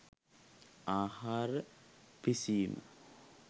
ආහාර පිසීම